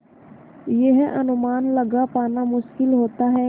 यह अनुमान लगा पाना मुश्किल होता है